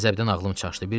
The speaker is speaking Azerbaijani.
Qəzəbdən ağlım çaşdı.